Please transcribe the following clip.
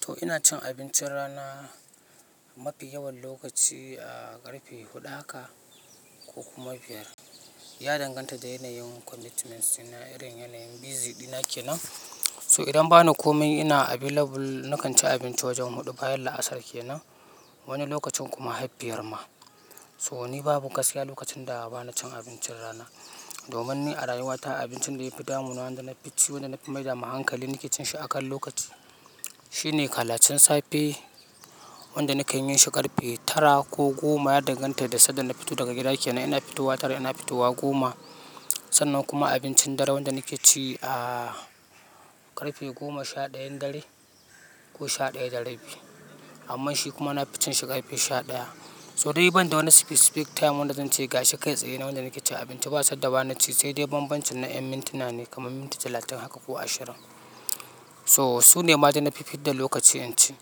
To ina cin abincin rana mafi yawan lokaci a ƙarfe huɗu haka ko kuma biyar. Ya danganta da yanayin commitment suna, irin yanayin busy dina kenan. So idan bana komai ina available, nakan ci abinci wajen huɗu bayan la'asar kenan, wani lokacin kuma har fiyar ma. So ni babu gaskiya lokacin da bana cin abincin rana. Domin ni a rayuwata abincin da yafi damunina wanda na fi ci, wanda na fi maida hankali nake cin shi akan lokaci. Shi ne kalacen safe, wanda nakan yin shi ƙarfe tara ko goma. Ya danganta da sadda na fito daga gida kenan. Ina fitowa tara, ina fitowa goma. Sannan kuma abincin dare wanda nake ci a ƙarfe goma sha ɗayan dare ko sha ɗaya da rabi. Amma shi kuma na ficin shi ƙarfe sha ɗaya. So dai ban da wani specific time wanda zan ci ga shi kai tsaye na wanda nake cin abinci. Ba sadda ba na ci sai dai bambancin na yan mintina ne kamar minti talatin haka ko ashirin. So su ne maɗai na fifadalokaci in ci.